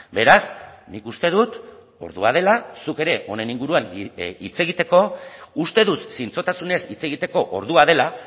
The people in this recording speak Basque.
beraz nik uste dut ordua dela zuk ere honen inguruan hitz egiteko uste dut zintzotasunez hitz egiteko ordua dela